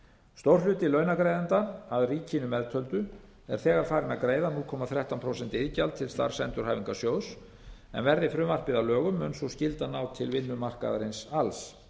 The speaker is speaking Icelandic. stór hluti launagreiðenda að ríkinu meðtöldu er þegar farinn að greiða núll komma þrettán prósent iðgjald til starfsendurhæfingarsjóðs en verði frumvarpið að lögum mun sú skylda ná til vinnumarkaðarins alls